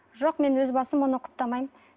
жоқ мен өз басым оны құптамаймын